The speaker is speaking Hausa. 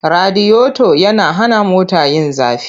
Radiyoto yana hana mota yin zafi.